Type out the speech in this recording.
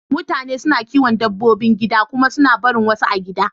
Mutane suna kiyon dabbobi gida kuma suna barin wasu a gida.